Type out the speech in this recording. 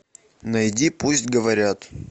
найди пусть говорят